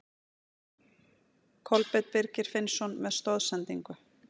Kolbeinn Birgir Finnsson með stoðsendingu.